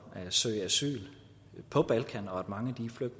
at søge asyl på balkan mange